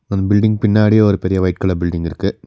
அந்த பில்டிங் பின்னாடியே ஒரு பெரிய ஒயிட் கலர் பில்டிங் இருக்கு.